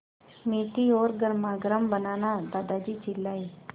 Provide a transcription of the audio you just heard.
मीठी और गर्मागर्म बनाना दादाजी चिल्लाए